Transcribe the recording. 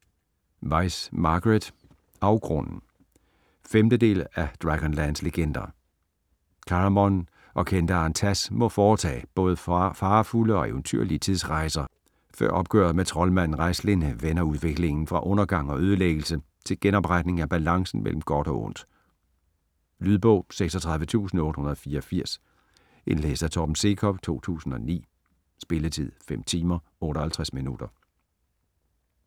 Weis, Margaret: Afgrunden 5. del af Dragonlance legender. Caramon og kendaren Tass må foretage både farefulde og eventyrlige tidsrejser før opgøret med troldmanden Raistlin vender udviklingen fra undergang og ødelæggelse til genopretning af balancen mellem godt og ondt. Lydbog 36884 Indlæst af Torben Sekov, 2009. Spilletid: 5 timer, 58 minutter.